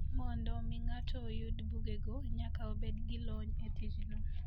Mondo mi ng'ato oyud bugego, nyaka obed gi lony e tijno.